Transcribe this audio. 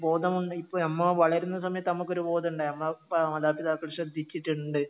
ബോധമുണ്ട് ഇപ്പോ നമ്മൾ വളരുന്ന സമയത്ത് നമുക്കൊരു ബോധം ഉണ്ടായി നമ്മൾ ഇപ്പോ ഇണ്ട്